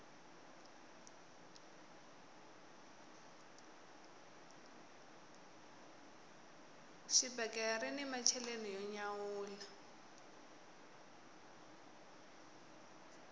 xibakele rini macheleni yo nyawula